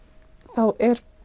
þá